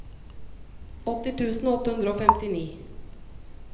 åtti tusen åtte hundre og femtini